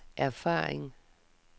erfaring